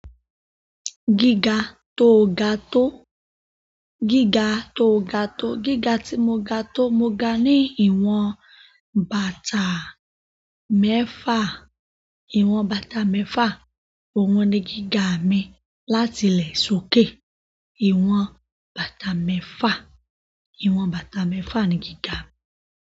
Gíga tó ga tó, gíga tó ga tó, gíga tí mo ga tó, mo ga ní ìwọ̀n bàtà mẹ́fà. Ìwọ̀n bàtà mẹ́fà, òun ni gíga mi láti ilẹ̀ sókè. Ìwọ̀n bàtà mẹ́fà, ìwọ̀n bàtà mẹ́fà ni gíga mi.